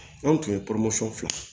An tun ye filan